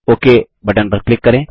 okay button पर click करें